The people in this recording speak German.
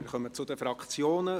Wir kommen zu den Fraktionen.